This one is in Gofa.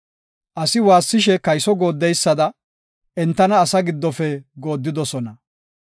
Asi waassishe kayso gooddeysada, entana asaa giddofe gooddidosona.